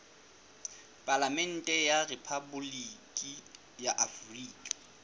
palamente ya rephaboliki ya afrika